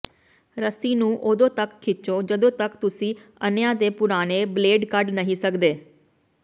ਰੱਸੀ ਨੂੰ ਉਦੋਂ ਤਕ ਖਿੱਚੋ ਜਦੋਂ ਤਕ ਤੁਸੀਂ ਅੰਨ੍ਹਿਆਂ ਦੇ ਪੁਰਾਣੇ ਬਲੇਡ ਕੱਢ ਨਹੀਂ ਸਕਦੇ